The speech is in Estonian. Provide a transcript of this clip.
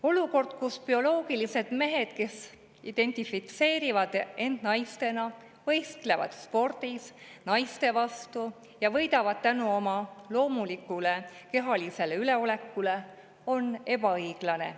Olukord, kus bioloogilised mehed, kes identifitseerivad end naistena, võistlevad spordis naiste vastu ja võidavad tänu oma loomulikule kehalisele üleolekule, on ebaõiglane.